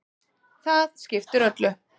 Það skiptir öllu.